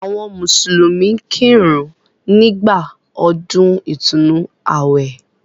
Àwọn mùsùlùmí ń kírun nígbà ọdún ìtúnnu àwẹ̀.